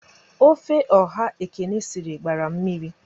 Ofe ọha Ekene sịrị gbara mmiri